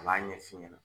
A b'a ɲɛ f'i ɲɛna